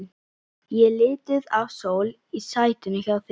Ég er lituð af sól í sætinu hjá þér.